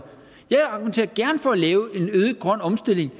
jeg argumenterer gerne for at lave en øget grøn omstilling